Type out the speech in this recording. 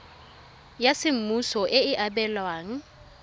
ya semmuso e e abelwang